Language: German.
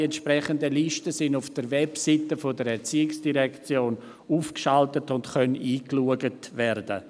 Die entsprechenden Listen sind auf der Webseite der ERZ aufgeschaltet und können eingesehen werden.